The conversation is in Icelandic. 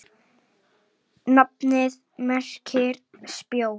Nafnið merkir spjót.